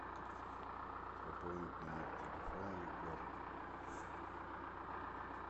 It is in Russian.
пополнить номер телефона егора